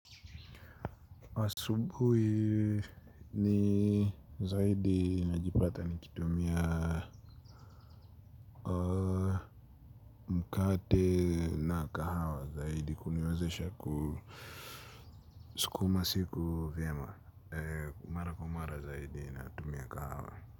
Asubui ni zaidi najipata nikitumia mkate na kahawa zaidi kuniwezesha kusukuma siku vyema mara kwa mara zaidi natumia kahawa.